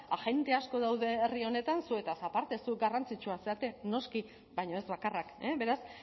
agente asko daude herri honetan zuetaz aparte zu garrantzitsuak zarete noski baina ez bakarrak beraz